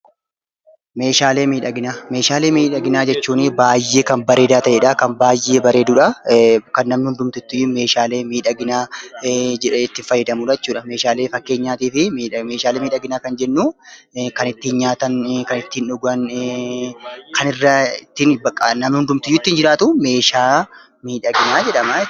Meeshaalee miudhaginaa Meeshaalee miidhaginaa jechuun baayyee kan bareedaa ta'e dha. Kan baay'ee bareedu dha. Kan namni hundumtiyyuu meeshaalee miidhaginaa jedhee itti fayyadamu jechuu dha. Fakkeenyaatiif meeshaalee miidhaginaa kan jennu, kan ittiin nyaatan, kan ittiin dhugan, kan namni hundumtuu ittiin jiraatu 'Meeshaa miidhaginaa' jedhama.